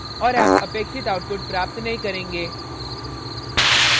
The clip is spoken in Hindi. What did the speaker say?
और आप अपेक्षित output प्राप्त नहीं करेंगे